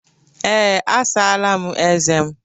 Ee, asala m eze m.